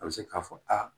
A bɛ se k'a fɔ aa